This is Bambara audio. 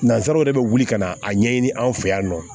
Nansaraw de bɛ wuli ka na a ɲɛɲini anw fɛ yan nɔ